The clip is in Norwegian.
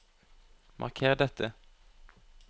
Marker dette